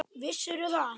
Vissirðu það?